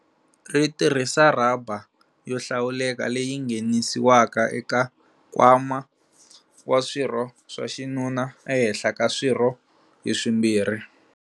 Ri tirhisa rhaba yo hlawuleka leyi nghenisiwaka eka nkwama wa swirho swa xinuna ehenhla ka swirho hi swimbirhi.